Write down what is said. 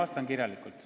Ma vastan kirjalikult.